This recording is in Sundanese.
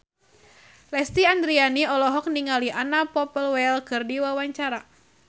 Lesti Andryani olohok ningali Anna Popplewell keur diwawancara